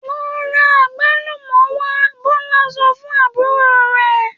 ‘Lo̩ ra àgbálùmò̩ wá!’. Bó̩lá so̩ fún àbúrò rè̩